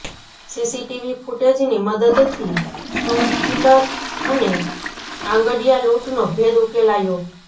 CCTV ફુટેજની મદદથી stone killer અને આંગડીયા લૂંટનો ભેદ ઉકેલાયો